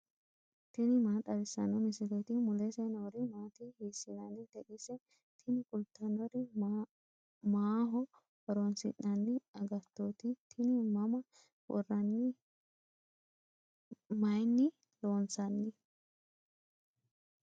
tini maa xawissanno misileeti ? mulese noori maati ? hiissinannite ise ? tini kultannori maaho horoonsi'nanni agattooti tini mama worranni mayinni lloonsanni